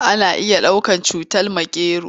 Ana iya ɗaukar cutar makero.